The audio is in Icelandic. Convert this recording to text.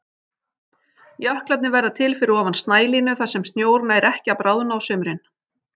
Jöklarnir verða til fyrir ofan snælínu þar sem snjór nær ekki að bráðna á sumrin.